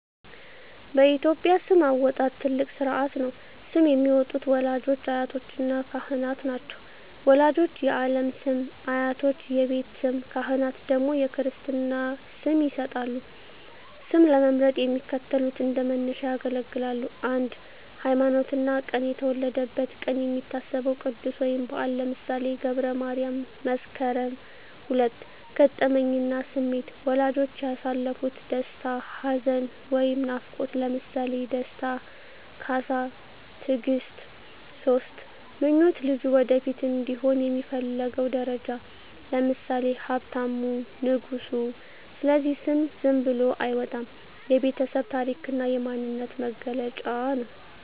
በኢትዮጵያ ስም አወጣጥ ትልቅ ሥርዓት ነው። ስም የሚያወጡት ወላጆች፣ አያቶችና ካህናት ናቸው። ወላጆች የዓለም ስም፣ አያቶች የቤት ስም፣ ካህናት ደግሞ የክርስትና ስም ይሰጣሉ። ስም ለመምረጥ የሚከተሉት እንደ መነሻ ያገለግላሉ 1)ሃይማኖትና ቀን የተወለደበት ቀን የሚታሰበው ቅዱስ ወይም በዓል (ለምሳሌ ገብረ ማርያም፣ መስከረም)። 2)ገጠመኝና ስሜት ወላጆች ያሳለፉት ደስታ፣ ሐዘን ወይም ናፍቆት (ለምሳሌ ደስታ፣ ካሳ፣ ትግስት)። 3)ምኞት ልጁ ወደፊት እንዲሆን የሚፈለገው ደረጃ (ለምሳሌ ሀብታሙ፣ ንጉሱ)። ስለዚህ ስም ዝም ብሎ አይወጣም፤ የቤተሰብ ታሪክና የማንነት መገለጫ ነው።